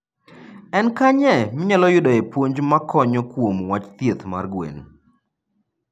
En kanye minyalo yudoe puonj makonyo kuom wach thieth mar gwen?